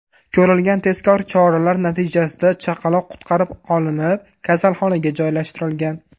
Ko‘rilgan tezkor choralar natijasida chaqaloq qutqarib qolinib, kasalxonaga joylashtirilgan.